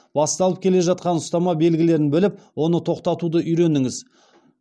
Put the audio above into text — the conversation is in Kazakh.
басталып келе жатқан ұстама белгілерін біліп оны тоқтатуды үйреніңіз